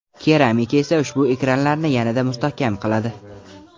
Keramika esa ushbu ekranlarni yanada mustahkam qiladi.